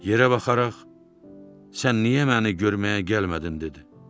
Yerə baxaraq, sən niyə məni görməyə gəlmədin dedi.